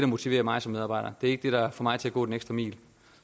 motiverer mig som medarbejder det er ikke det der får mig til at gå den ekstra mil